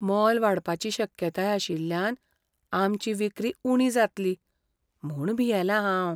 मोल वाडपाची शक्यताय आशिल्ल्यान आमची विक्री उणी जातली म्हूण भियेला हांव.